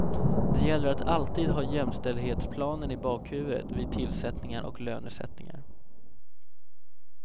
Det gäller att alltid ha jämställdhetsplanen i bakhuvudet vid tillsättningar och lönesättningar.